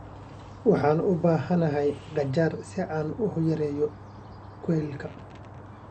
Waxaan u baahanahay qajaar si aan u yareeyo kuleylka.